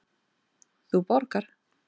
Þú borgar.